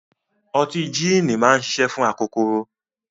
Ọtí jííni máa ń ṣiṣẹ́ fún akokoro.